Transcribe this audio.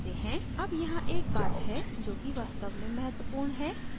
अब यहाँ एक बात है जो कि वास्तव में महत्वपूर्ण है